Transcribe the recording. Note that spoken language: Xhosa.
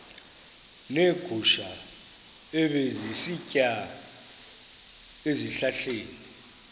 neegusha ebezisitya ezihlahleni